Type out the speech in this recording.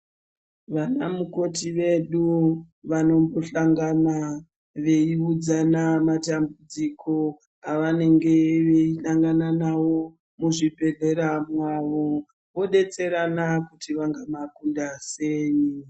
Vanamukoti vedu vanombosangana veiudzana matambudziko avanenge veisangana nawo muzvibhedhleya mwavo vodetserana kuti vangamakunda sei.